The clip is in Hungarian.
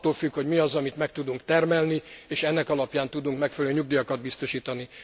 Attól függ, hogy mi az, amit meg tudunk termelni, és ennek alapján tudunk megfelelő nyugdíjakat biztosítani.